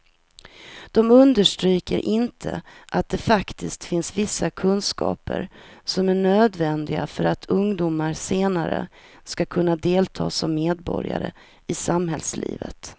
De understryker inte att det faktiskt finns vissa kunskaper som är nödvändiga för att ungdomar senare ska kunna delta som medborgare i samhällslivet.